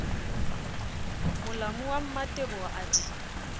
molamo wa mmateboho a di